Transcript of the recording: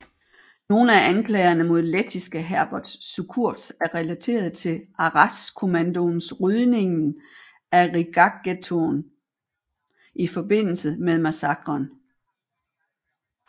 Nogle af anklagerne mod lettiske Herberts Cukurs er relateret til Arajskommandoens rydningen af Rigaghettoen i forbindelse med massakren